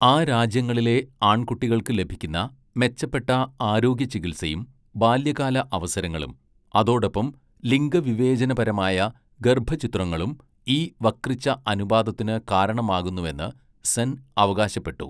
ആ രാജ്യങ്ങളിലെ ആൺകുട്ടികൾക്ക് ലഭിക്കുന്ന മെച്ചപ്പെട്ട ആരോഗ്യചികിത്സയും ബാല്യകാല അവസരങ്ങളും, അതോടൊപ്പം ലിംഗവിവേചനപരമായ ഗർഭച്ഛിദ്രങ്ങളും ഈ വക്രിച്ച അനുപാതത്തിന് കാരണമാകുന്നുവെന്ന് സെൻ അവകാശപ്പെട്ടു.